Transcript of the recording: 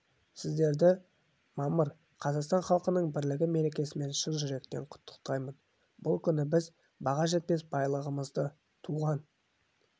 сіздерді мамыр қазақстан халқының бірлігі мерекесімен шын жүректен құттықтаймын бұл күні біз баға жетпес байлығымызды туған